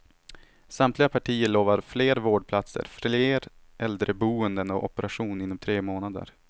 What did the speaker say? Samtliga partier lovar fler vårdplatser, fler äldreboenden och operation inom tre månader.